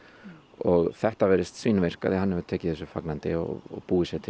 og þetta virðist svínvirka því hann hefur tekið þessu fagnandi og búið sér til